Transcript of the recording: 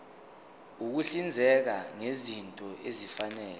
ukuhlinzeka ngezinto ezifanele